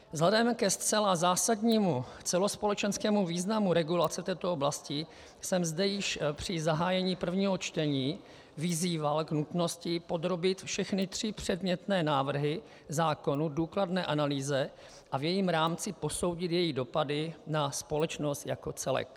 Vzhledem ke zcela zásadnímu celospolečenskému významu regulace této oblasti jsem zde již při zahájení prvního čtení vyzýval k nutnosti podrobit všechny tři předmětné návrhy zákonů důkladné analýze a v jejím rámci posoudit její dopady na společnost jako celek.